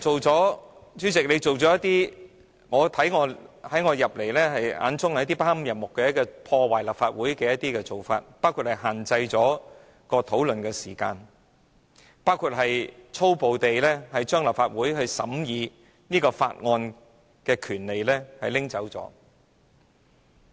主席，你一些做法在我眼中不堪入目及破壞立法會，包括限制辯論的時間，粗暴地將立法會審議法案的權力奪走。